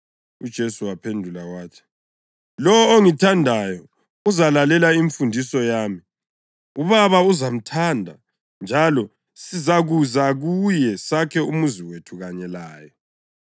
UJesu waphendula wathi, “Lowo ongithandayo uzalalela imfundiso yami. UBaba uzamthanda njalo sizakuza kuye sakhe umuzi wethu kanye laye.